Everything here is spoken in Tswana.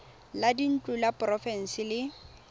la dintlo la porofense le